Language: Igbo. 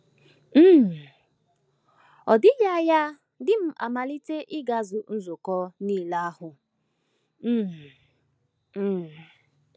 um Ọ dịghị anya di m amalite ịgazu nzukọ niile ahụ um. um